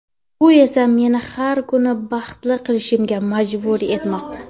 Bu esa meni har kuni baxtli qilishga majbur etmoqda.